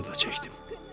Ayırısını da çəkdim.